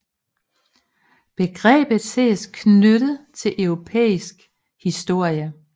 Begrebet ses knyttet til europæisk historie